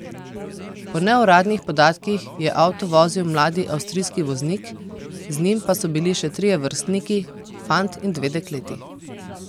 Po neuradnih podatkih je avto vozil mladi avstrijski voznik, z njim pa so bili še trije vrstniki, fant in dve dekleti.